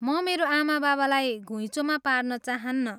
म मेरो आमाबाबालाई घुइँचोमा पार्न चाहन्नँ।